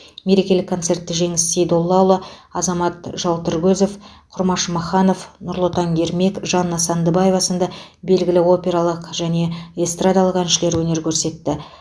мерекелік концертте жеңіс сейдоллаұлы азамат жалтыркөзов құрмаш маханов нұрлытаң ермек жанна сандыбаева сынды белгілі опералық және эстрадалық әншілер өнер көрсетті